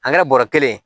An kɛra bɔrɔ kelen ye